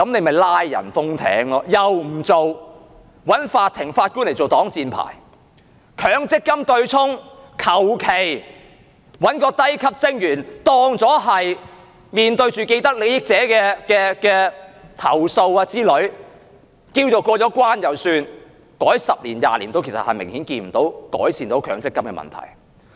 她又不做，找法庭和法官來做擋箭牌；強積金對沖，隨便找一名低級職員，便當作面對既得利益者的投訴，便算"過了關"，改了十多二十年，其實也看不到強積金問題有明顯改善。